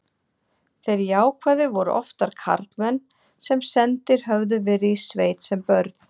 þeir jákvæðu voru oftar karlmenn sem sendir höfðu verið í sveit sem börn